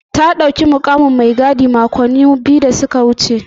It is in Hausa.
Ta ɗauki mukamin mai gadi makonni biyu da suka wuce.